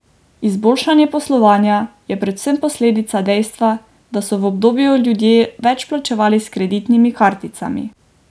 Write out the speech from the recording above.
Izboljšanje poslovanja je predvsem posledica dejstva, da so v obdobju ljudje več plačevali s kreditnimi karticami.